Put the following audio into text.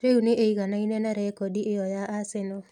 Rĩu nĩ ĩiganaine na rekondi ĩyo ya Arsenal.